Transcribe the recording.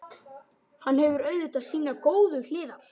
Hann hefur auðvitað sínar góðu hliðar.